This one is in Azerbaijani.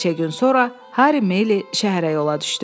Bir neçə gün sonra Harri Mili şəhərə yola düşdü.